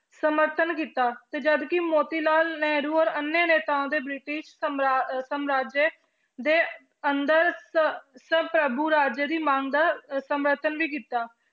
ਸਮਰਥਨ ਕੀਤਾ ਤੇ ਜਦ ਕਿ ਮੋਤੀ ਲਾਲ ਨਹਿਰੂ ਔਰ ਅੰਨਯ ਨੇਤਾਵਾਂ ਦੇ ਬ੍ਰਿਟਿਸ਼ ਸਮਰਾ~ ਸਮਰਾਜੇ ਦੇ ਅੰਦਰ ਸ~ ਰਾਜ ਦੀ ਮੰਗ ਦਾ ਸਮਰਥਨ ਵੀ ਕੀਤਾ।